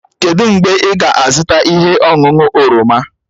Kedụ mgbe ị ga-azụta ihe ọṅụṅụ oroma?